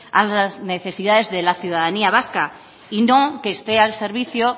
a las necesidades de la ciudadanía vasca y no que esté al servicio